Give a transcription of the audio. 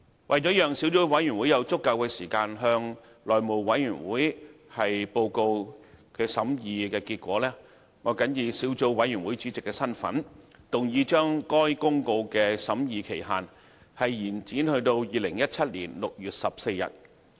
為了讓小組委員會有足夠時間向內務委員會報告其審議結果，我謹以小組委員會主席的身份，動議將該《生效日期公告》的審議期限，延展至2017年6月14日。